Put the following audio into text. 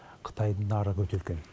қытайдың нарығы өте үлкен